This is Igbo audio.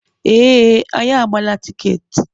Ee, anyị agbaala tiketi.